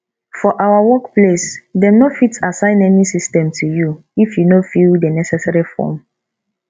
for our workplace dem no fit asssign any system to you if you no fill the necessary form